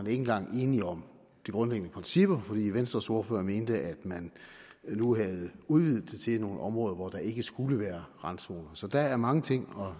engang er enige om de grundlæggende principper for venstres ordfører mente at man nu havde udvidet det til nogle områder hvor der ikke skulle være randzoner så der er mange ting